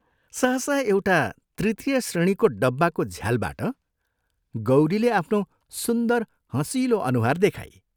सहसा एउटा तृतीय श्रेणीको डब्बाको झ्यालबाट गौरीले आफ्नो सुन्दर हँसिलो अनुहार देखाई।